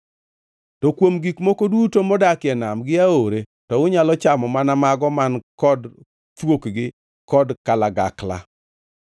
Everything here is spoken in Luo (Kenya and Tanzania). “ ‘To kuom gik moko duto modakie nam gi aore to unyalo chamo mana mago man kod thuokgi kod kalagakla.